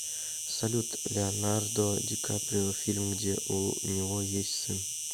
салют леонардо ди каприо фильм где у него есть сын